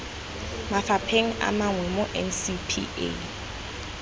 mafapheng a mangwe mo ncpa